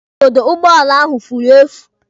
Igodo ụgbọala ahụ furu efu.